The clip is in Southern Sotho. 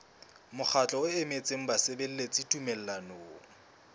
mokgatlo o emetseng basebeletsi tumellanong